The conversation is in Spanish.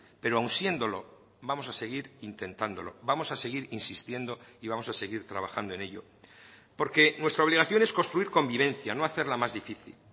pero aun siéndolo vamos a seguir intentándolo vamos a seguir insistiendo y vamos a seguir trabajando en ello porque nuestra obligación es construir convivencia no hacerla más difícil